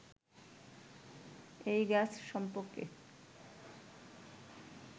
এই গাছ সম্পর্কে